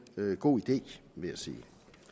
god idé vil jeg sige